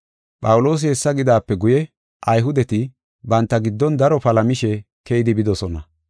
Phawuloosi hessa gidaape guye, Ayhudeti banta giddon daro palamishe keyidi bidosona.